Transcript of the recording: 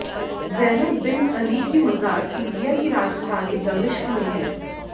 Zainab bint Ali की मज़ार Syria की राजधानी दमिश्क में है